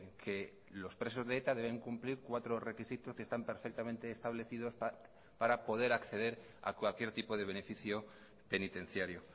que los presos de eta deben cumplir cuatro requisitos que están perfectamente establecidos para poder acceder a cualquier tipo de beneficio penitenciario